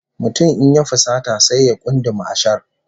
Mutum in ya fusata sai ya kunduma ashar